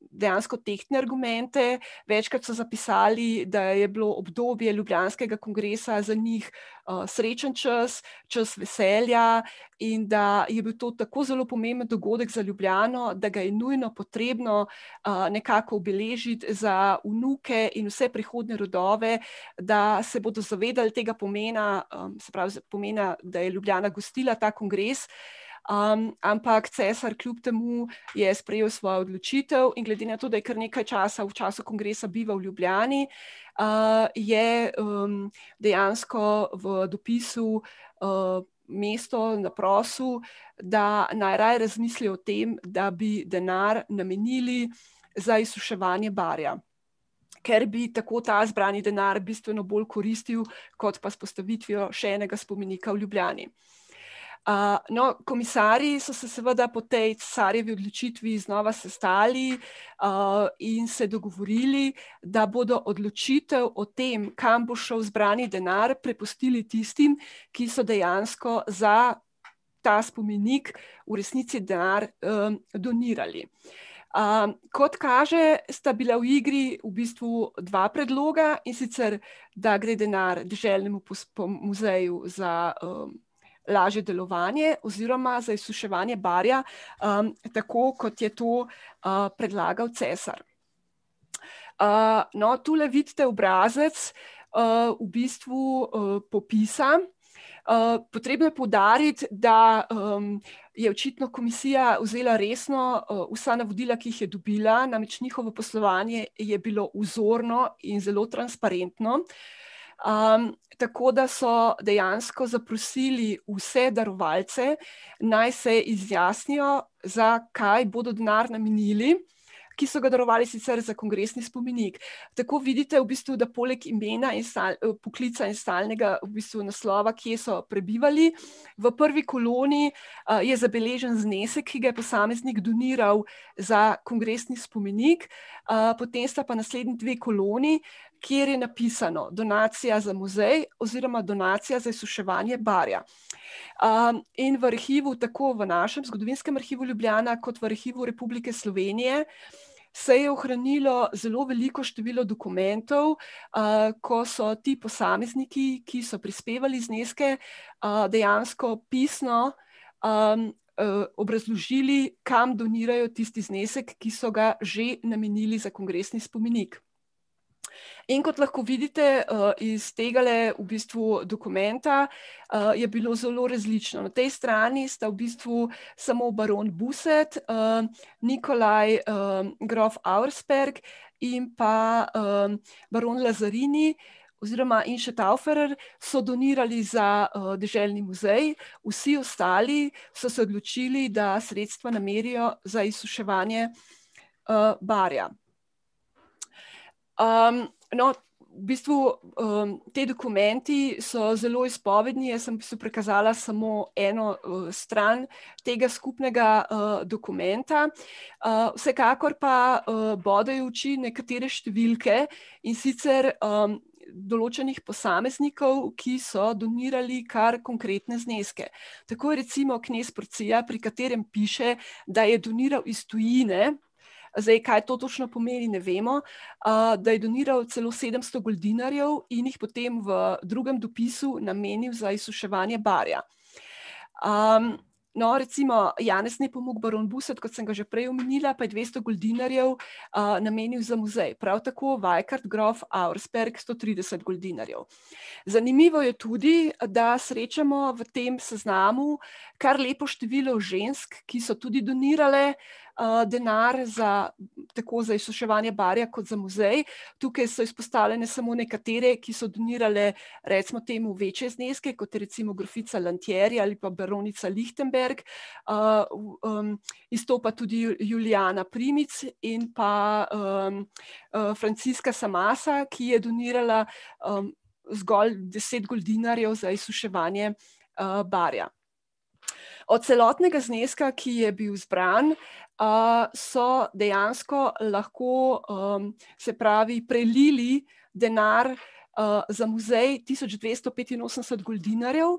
dejansko tehtne argumente, večkrat so zapisali, da je bilo obdobje ljubljanskega kongresa za njih srečen čas, čas veselja in da je bil to tako zelo pomemben dogodek za Ljubljano, da ga je nujno potrebno, nekako obeležit za vnuke in vse prihodnje rodove, da se bodo zavedal tega pomena, se pravi pomena, da je Ljubljana gostila ta kongres. ampak cesar kljub temu je sprejel svojo odločitev in glede na to, da je kar nekj časa v času kongresa bival v Ljubljani, je, dejansko v dopisu mesto zaprosil, da naj raje razmisli o tem, da bi denar namenili za izsuševanje Barja. Ker bi tako ta zbrani denar bistveno bolj koristil kot pa z vzpostavitvijo še enega spomenika v Ljubljani. no, komisarji so se seveda po tej cesarjevi odločitvi znova sestali, in se dogovorili, da bodo odločitev o tem, kam bo šel zbrani denar, prepustili tistim, ki so dejansko za ta spomenik v resnici denar, donirali. kot kaže, sta bila v igri v bistvu dva predloga, in sicer da gre denar k deželnemu muzeju za lažje delovanje oziroma za izsuševanje Barja, tako kot je to, predlagal cesar. no, tule vidite obrazec, v bistvu, popisan, potrebno je poudariti, da, je očitno komisija vzela resno, vsa navodila, ki jih je dobila, namreč njihovo poslovanje je bilo vzorno in zelo transparentno. tako da so dejansko zaprosili vse darovalce, naj se izjasnijo, za kaj bodo denar namenili, ki so ga darovali sicer za kongresni spomenik. Tako vidite, v bistvu, da poleg imena in poklica in stalnega v bistvu naslova, kje so prebivali, v prvi koloni, je zabeležen znesek, ki ga je posameznik doniral za kongresni spomenik. potem sta pa naslednji dve koloni, kjer je napisano: donacija za muzej oziroma donacija za izsuševanje Barja. in v arhivu, tako v našim, Zgodovinskem arhivu Ljubljana kot v Arhivu Republike Slovenije, se je ohranilo zelo veliko število dokumentov, ko so ti posamezniki, ki so prispevali zneske, dejansko opisno, obrazložili, kam donirajo tisti znesek, ki so ga že namenili za kongresni spomenik. In kot lahko vidite, iz tegale v bistvu dokumenta, je bilo zelo različno, na tej strani sta v bistvu samo baron Buset, Nikolaj, grof Auersperg in pa, baron Lazarini oziroma in še Tauferer so donirali za, deželni muzej, vsi ostali so se odločili, da sredstva namerijo za izsuševanje, Barja. no, v bistvu, ti dokumenti so zelo izpovedni, jaz sem v bistvu prikazala v bistvu samo eno, stran tega skupnega, dokumenta. vsekakor pa, bodejo v oči nekatere številke, in sicer, določenih posameznikov, ki so donirali kar konkretne zneske. Tako je recimo knez , pri katerem piše da je doniral iz tujine, zdaj kaj to točno pomeni, ne vemo, da je doniral celo sedemsto goldinarjev in jih potem v drugem dopisu namenil za izsuševanje Barja. no, recimo Janez Nepomuk, baron Buset, kot sem ga že prej omenila, pa je dvesto goldinarjev, namenil za muzej, prav tako grof Vajkard Auspersperg, sto trideset goldinarjev. Zanimivo je tudi, da srečamo v tem seznamu kar lepo število žensk, ki so tudi donirale, denar za, tako za izsuševanje Barja kot za muzej, tukaj so izpostavljene samo nekatere, ki so donirale, recimo temu večje zneske, kot je recimo grofica Lantieri ali pa baronica Lichtenberg. izstopa tudi Julijana Primic in pa, Franziska Samasa, ki je donirala, zgolj deset goldinarjev za izsuševanje, Barja. Od celotnega zneska, ki je bil zbran, so dejansko lahko, se pravi prelili denar, za muzej, tisoč dvesto petinosemdeset goldinarjev,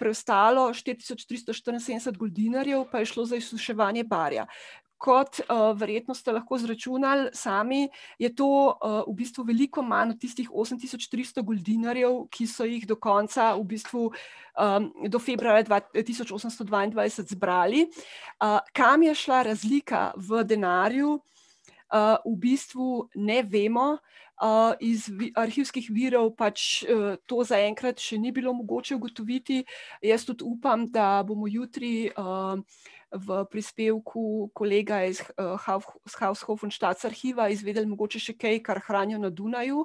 preostalo, štiri tisoč tristo štiriinsedemdeset goldinarjev, pa je šlo za izsuševanje Barja. Kot, verjetno ste lahko izračunali sami, je to, v bistvu veliko manj od tistih osem tisoč tristo goldinarjev, ki so jih do konca v bistvu, do februarja tisoč osemsto dvaindvajset zbrali. kam je šla razlika v denarju? v bistvu ne vemo, iz iz arhivskih virov pač to zaenkrat še ni bilo mogoče ugotoviti, jaz tudi upam, da bomo jutri, v prispevku kolega s Haushoffenstadt arhiva izvedli mogoče še kaj, kar hranijo na Dunaju,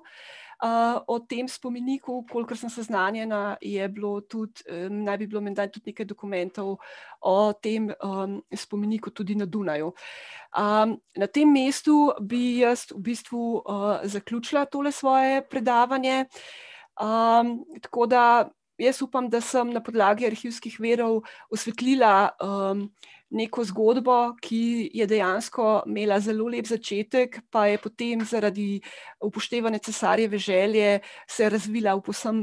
o tem spomeniku, kolikor sem seznanjena, je bilo tudi, naj bi bilo menda tudi nekaj dokumentov o tem, spomeniku tudi na Dunaju. na tem mestu bi jaz v bistvu, zaključila tole svoje predavanje, tako da jaz upam, da sem na podlagi arhivskih virov osvetlila, neko zgodbo, ki je dejansko imela zelo lep začetek, pa je potem zaradi upoštevanja cesarjeve želje se razvila v povsem,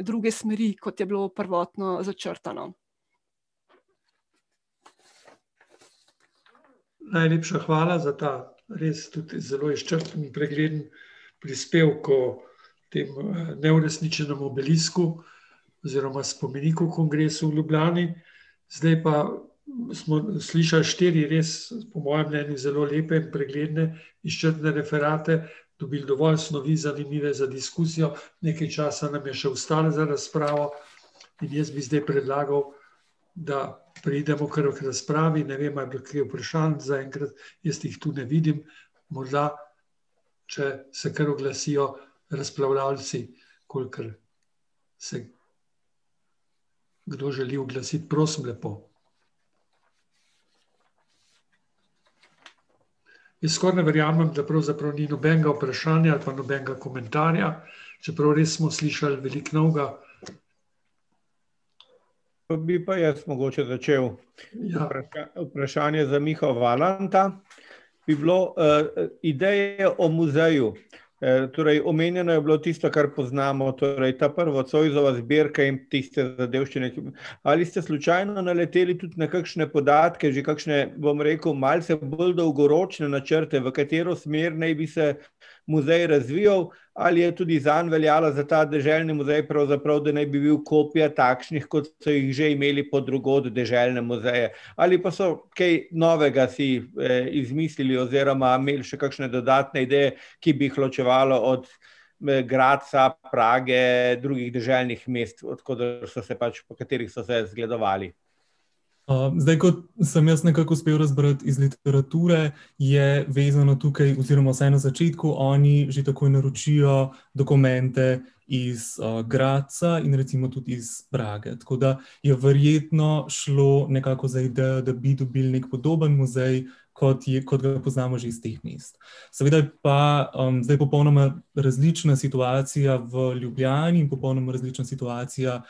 druge smeri, kot je bilo prvotno začrtano. [anonimiziran govor] bi pa jaz mogoče začel. [anonimiziran govor] Vprašanje za Miha Valanta bi bilo, ideje o muzeju. torej omenjeno je bilo tisto, kar poznamo, torej ta prva Zoisova zbirka in tiste zadevščine. Ali ste slučajno naleteli tudi na kakšne podatke, že kakšne, bom rekel, malce bolj dolgoročne načrte, v katero smer naj bi se muzej razvijal, ali je tudi zanj veljalo, za deželni muzej pravzaprav, da naj bi bil kopija takšnih, kot so jih že imeli po drugod, deželne muzeje? Ali pa so kaj novega si, izmislili oziroma imeli še kakšne dodatne ideje, ki bi jih ločevalo od, Gradca, Prage, drugih deželnih mest, od koder so se pač, po katerih so se zgledovali? zdaj, kot sem jaz nekako uspel razbrati iz literature, je vezano tukaj oziroma vsaj na začetku oni že takoj naročijo dokumente iz, Gradca in recimo tudi iz Prage, tako da je verjetno šlo nekako za idejo, da bi dobili podoben muzej, kot kot ga poznamo že iz teh mest. Seveda je pa, zdaj popolnoma različna situacija v Ljubljani, popolnoma različna situacija,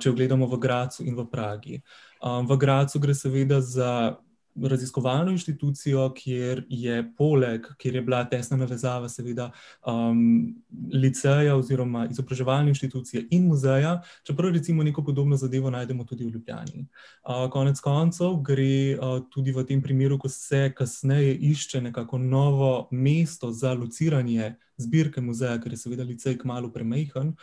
če gledamo v Gradcu in v Pragi. v Gradcu gre seveda za raziskovalno inštitucijo, kjer je poleg, kjer je bila tesna navezava seveda, liceja oziroma izobraževalne inštitucije in muzeja, čeprav recimo neko podobno zadevo najdemo tudi v Ljubljani. konec koncev gre, tudi v tem primeru, ko se kasneje išče nekako novo mesto za lociranje zbirke muzeja, ker je seveda licej kmalu premajhen,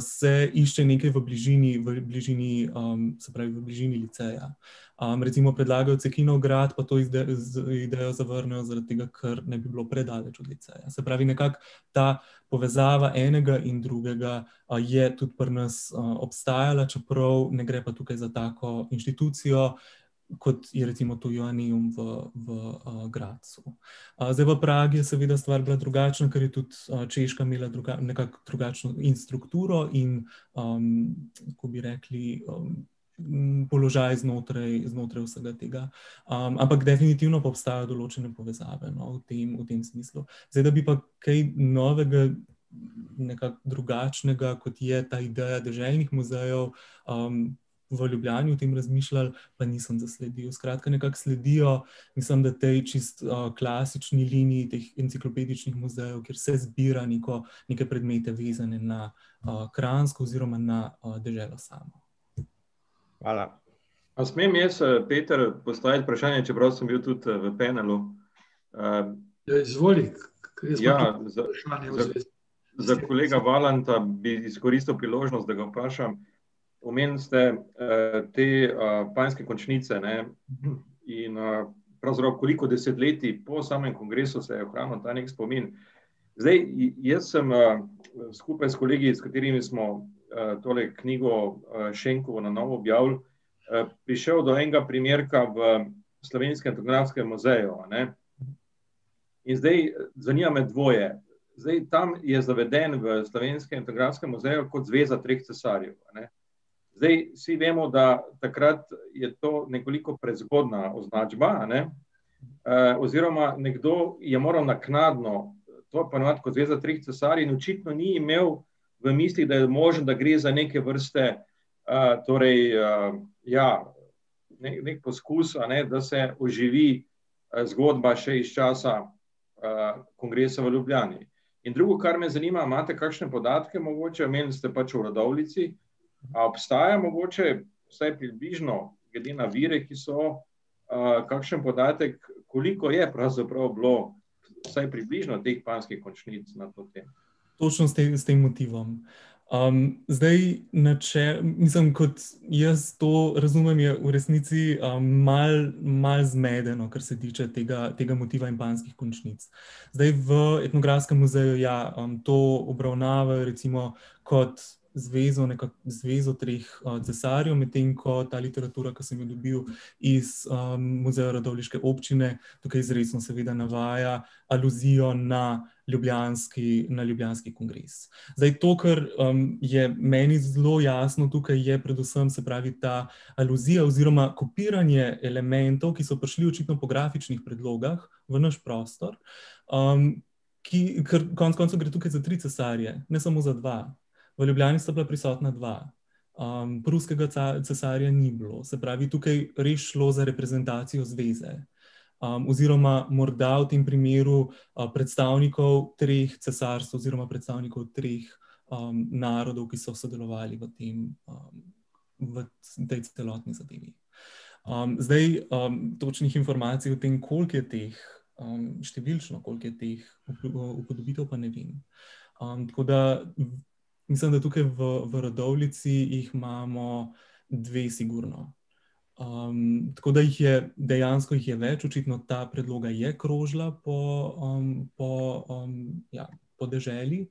se išče nekaj v bližini, v bližini, se pravi v bližini liceja. recimo predlagajo Cekinov grad, pa to idejo zavrnejo zaradi tega, ker naj bi bilo predaleč od liceja. Se pravi, nekako ta povezava enega in drugega, je tudi pri nas obstajala, čeprav ne gre pa tukaj za tako inštitucijo, kot je recimo v, v Gradcu. zdaj v Pragi je seveda stvar bila drugačna, ker je tudi, Češka imela nekako drugačno in strukturo in, lahko bi rekli, položaj znotraj, znotraj vsega tega. ampak definitivno pa obstajajo določene povezave, no, v tem, v tem smislu. Zdaj da bi pa kaj novega, nekako drugačnega, kot je ta ideja deželnih muzejev, v Ljubljani o tem razmišljali, pa nisem zasledil, skratka, nekako sledijo mislim, da tej čisto, klasični liniji teh enciklopedičnih muzejev, kjer se zbira neko, neke predmete, vezane na, Kranjsko oziroma na, deželo samo. Hvala. A smem jaz, Peter, postaviti vprašanje, čeprav sem biti tudi, v penalu? ... [anonimiziran govor] Za kolega Valanta bi izkoristil priložnost, da ga vprašam, omenili ste, te, panjske končnice, ne. In, pravzaprav koliko desetletij po samem kongresu se je ohranil ta neki spomin. Zdaj, jaz sem, skupaj s kolegi, s katerimi smo, tole knjigo, Šenkovo na novo objavili, prišli do enega primerka v Slovenskem etnografskem muzeju, ne. In zdaj zanima me dvoje. Zdaj tam je zaveden v Etnografskem muzeju kot zveza treh cesarjev, a ne. Zdaj, vsi vemo, da takrat je to nekoliko prezgodnja označba, a ne, oziroma nekdo je moral naknadno to poimenovati kot Zveza treh cesarjev in očitno ni imel v mislih, da je možno, da gre za neke vrste, torej, ja ... neki poskus, a ne, da se poživi, zgodba še iz časa, kongresa v Ljubljani. In drugo, kar me zanima, a imate kakšne podatke mogoče, omenili ste pač v Radovljici, a obstaja mogoče vsaj približno glede na vire, ki so, kakšen podatek, koliko je pravzaprav bilo vsaj približno teh panjskih končnic na to temo? Točno s tem, s tem motivom? zdaj, mislim, kot jaz to razumem, je v resnici, malo, malo zmedeno, kar se tiče tega, tega motiva in panjskih končnic. Zdaj, v Etnografskem muzeju ja, to obravnavajo recimo kot zvezo, zvezo treh cesarjev, medtem ko ta literatura, ki sem jo dobil iz, Muzeja radovljiške občine, tukaj izrecno seveda navaja aluzijo na ljubljanski, na ljubljanski kongres. Zdaj, to, kar, je meni zelo jasno tukaj, je predvsem, se pravi, ta iluzija oziroma kopiranje elementov, ki so prišli očitno po grafičnih predlogah v naš prostor, ki, ker konec koncev gre tukaj za tri cesarje, ne samo za dva. V Ljubljani sta bila prisotna dva. pruskega cesarja ni bilo, se pravi je tukaj res šlo za reprezentacijo zveze. oziroma morda v tem primeru, predstavnikov treh cesarstev oziroma predstavnikov treh, narodov, ki so sodelovali v tem, v tej celotni zadevi. zdaj, točnih informacij o tem, koliko je teh, številčno, koliko je teh upodobitev, pa ne vem. tako da mislim, da tukaj v, v Radovljici jih imamo dve sigurno. tako da jih je, dejansko jih je več, očitno ta predloga je krožila po po, ... Ja, po deželi.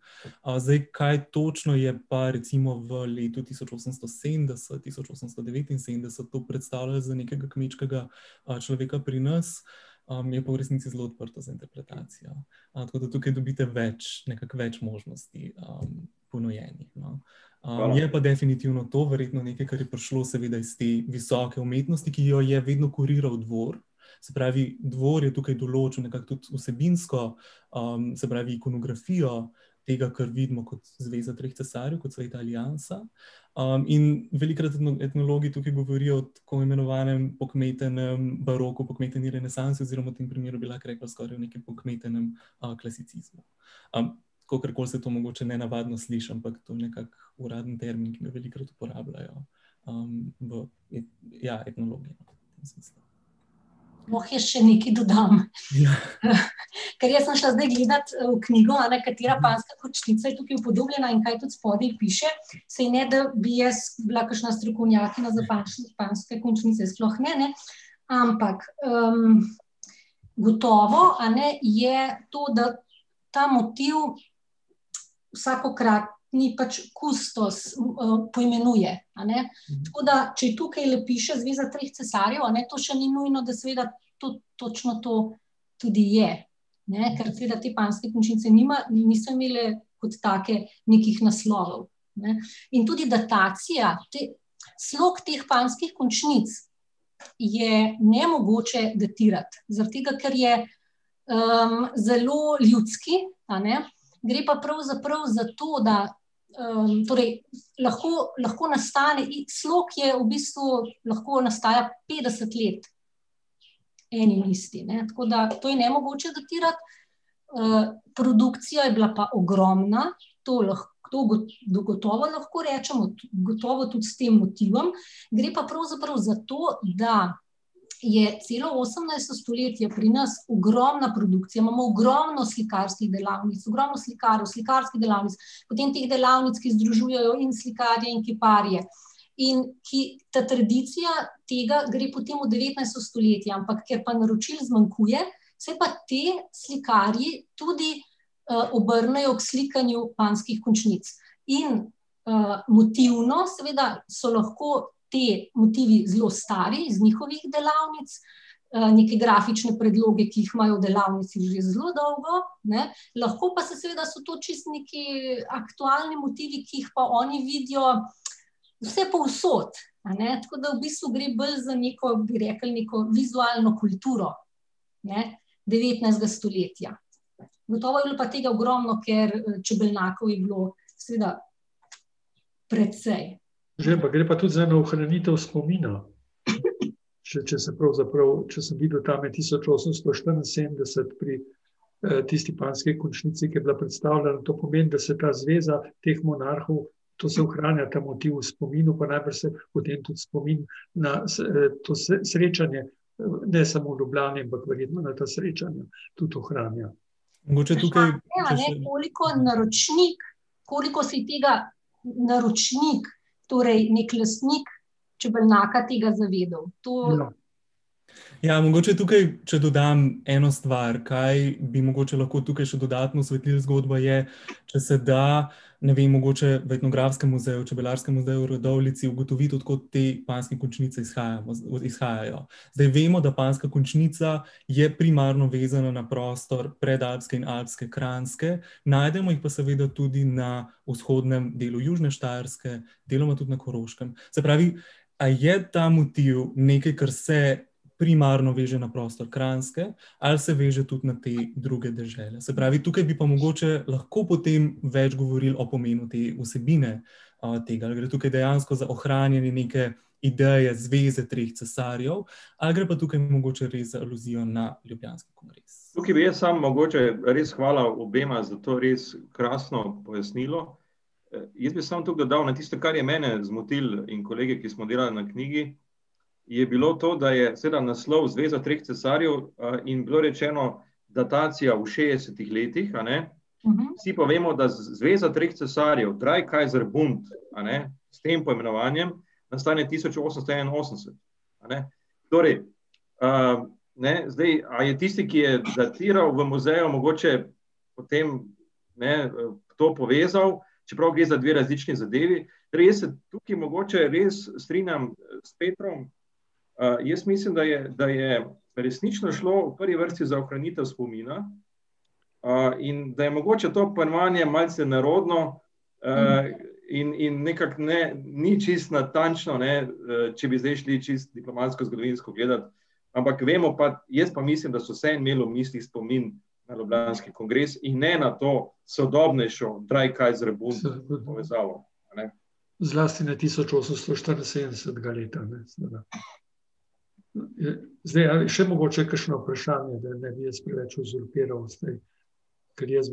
zdaj, kaj točno je pa recimo v letu tisoč osemsto sedemdeset-tisoč osemsto devetinsedemdeset to predstavljal za nekega kmečkega, človeka pri nas, je pa v resnici zelo odprto za interpretacijo. tako da tukaj dobite več, nekako več možnosti, ponujenih, no. je pa definitivno to, verjetno nekaj, kar je prišlo seveda iz te visoke umetnosti, ki jo je vedno kuriral dvor. Se pravi, dvor je tukaj določil nekako tudi vsebinsko, se pravi, ikonografijo tega, kar vidimo kot zveza treh cesarjev, kot Sveta aliansa, in velikokrat etnologi tukaj govorijo o tako imenovanem pokmetenem baroku, pokmeteni renesansi oziroma v tem primeru bi lahko rekli skorajda o pokmetenem, klasicizmu. kakorkoli se to mogoče nenavadno sliši, ampak to nekako uraden termin, ki ga velikokrat uporabljajo, v ... Ja, etnologi. V tem smislu. Lahko jaz še nekaj dodam? Ja. ker jaz sem šla zdaj gledati v knjigo, a ne, katera panjska končnica je tukaj upodobljena in kaj tudi spodaj piše. Saj ne da bi jaz bila kakšna strokovnjakinja za panjske končnice, sploh ne, ne. Ampak, gotovo, a ne, je to, da ta motiv vsakokratni pač kustos, poimenuje, a ne, tako da, če tukajle piše zveza treh cesarjev, a ne, to še ni nujno, da seveda tudi točno to tudi je. Ne, ker seveda te panjske končnice niso imele kot take nekih naslovov. Ne, in tudi datacija te ... Slog teh panjskih končnic je nemogoče datirati zaradi tega, ker je, zelo ljudski, a ne, gre pa pravzaprav za to, da, torej lahko, lahko nastane iks slog, ki je v bistvu ... Lahko nastaja petdeset let. Eni in isti, ne, tako da to je nemogoče datirati. produkcija je bila pa ogromna, to to to gotovo lahko rečemo, gotovo tudi s tem motivom, gre pa pravzaprav za to, da je celo osemnajsto stoletje pri nas ogromna produkcija, imamo ogromno slikarskih delavnic, ogromno slikarjev, slikarskih delavnic, potem teh delavnic, ki združujejo in slikarje in kiparje in ki ... Ta tradicija tega gre potem v devetnajsto stoletje ampak, ker pa naročil zmanjkuje se pa ti slikarji tudi, obrnejo k slikanju panjskih končnic. In, motivno seveda so lahko te motivi zelo stari, z njihovih delavnic, neke grafične predloge, ki jih imajo v delavnici že zelo dolgo, ne, lahko pa se seveda, so to čisto nekaj aktualni motivi, ki jih pa oni vidijo vsepovsod, a ne, tako da v bistvu gre bolj za neko, bi rekli neko vizualno kulturo, ne, devetnajstega stoletja. Gotovo je bilo pa tega ogromno, ker čebelnjakov je bilo seveda precej. [anonimiziran govor] Mogoče tukaj ... Vprašanje, a ne, koliko naročnik, koliko si tega naročnik, torej neki lastnik čebelnjaka tega zavedal. To ... Ja, mogoče tukaj, če dodam eno stvar, kaj bi mogoče lahko tukaj še dodatno osvetlili zgodbo, je, če se da ne vem, mogoče v Etnografskem muzeju, Čebelarskem muzeju v Radovljici ugotoviti, od kod te panjske končnice izhajamo, izhajajo. Zdaj, vemo, da panjska končnica je primarno vezana na prostor predalpske in alpske Kranjske, najdemo jih pa seveda tudi na vzhodnem delu južne Štajerske, deloma tudi na Koroškem. Se pravi, a je ta motiv nekaj, kar se primarno veže na prostor Kranjske, ali se veže tudi na te druge dežele, se pravi tukaj bi pa mogoče lahko potem več govorili o pomenu te vsebine, tega, a gre tukaj dejansko za ohranjanje neke ideje, zveze treh cesarjev ali gre pa tukaj mogoče res za iluzijo na ljubljanski kongres. Tukaj bi jaz sam mogoče ... Res hvala obema za to res krasno pojasnilo. Jaz bi samo to dodal, no, tisto, kar je mene zmotilo in kolege, ki smo delali na knjigi, je bilo to, da je seveda naslov Zveza treh cesarjev, in bilo rečeno datacija v šestih letih, a ne. Vsi pa vemo, da zveza treh cesarjev, Drei Kaiser Bunt, a ne, s tem poimenovanjem nastane tisoč osemsto enainosemdeset. A ne. Torej, ne, zdaj, a je tisti, ki je datiral v muzeju, mogoče potem ne, to povezali, čeprav gre za dve različni zadevi. Res, tukaj mogoče res strinjam s Petrom, jaz mislim, da je, da je resnično šlo v prvi vrsti za ohranitev spomina, in da je mogoče to poimenovanje malce nerodno, in, in nekako ne, ni čisto natančno, ne, če bi zdaj šli čisto diplomatsko, zgodovinsko gledat. Ampak vemo pa, jaz pa mislim, da so vseeno imeli v mislih spomin na ljubljanski kongres in ne na to sodobnejšo, Drei Kaiser Bund povezavo, a ne. Ja, jaz,